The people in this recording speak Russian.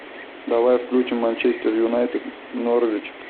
давай включим манчестер юнайтед норвич